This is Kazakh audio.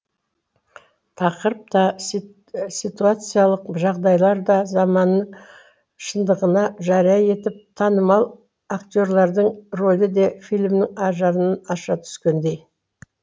тақырып та ситуациялық жағдайлар да заманның шындығын жария етіп танымал акте рлардің рөлі де фильмнің ажарын аша түскендей